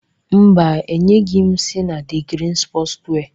Mba, enyeghị m sani the green sport wear.